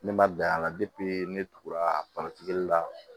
Ne ma bila a la ne tugura la